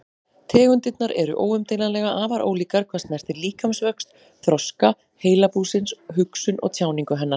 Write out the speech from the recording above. Tegundirnar eru óumdeilanlega afar ólíkar hvað snertir líkamsvöxt, þroska heilabúsins, hugsun og tjáningu hennar.